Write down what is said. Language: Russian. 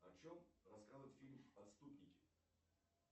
о чем рассказывает фильм отступники